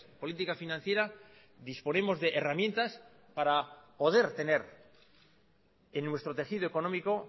política financiera disponemos de herramientas para poder tener en nuestro tejido económico